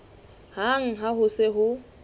hang ha ho se ho